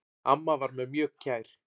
Amma var mér mjög kær.